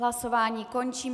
Hlasování končím.